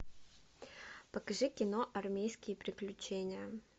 покажи кино армейские приключения